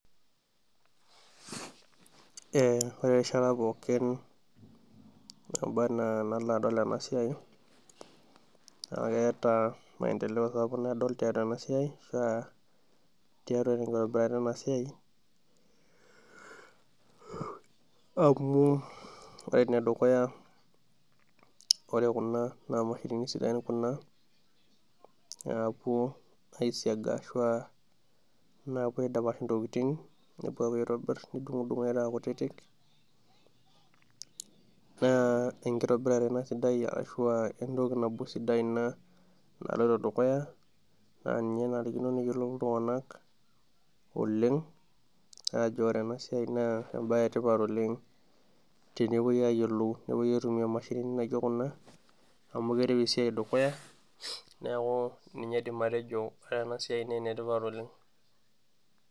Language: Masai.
Ee ore erishata pookin naba anaa enalo adol ena siai, naa keeta maendeleo sapuk nadoolta tena siai, naa tiatua enkitobirata ena siai, amu ore ene dukuya ore Kuna naa mashinini sidain Kuna, naapuo aisiaga, ashuu aa naapuo aidapsh ntokitin metaa kutitik, naa enkitobirare ena sidai, ashu aa entoki nabo sidai Ina naloito dukuya, naa ninye enarikino neyiolou iltunganak, oleng, ajo ore ena siai naa ebae etipat oleng, tenepuoi aitumia imashinini naijo Kuna, amu keret esiai dukuya, neeku ninye aidim atejo ore ena siai naa esiai naa ene tipat oleng.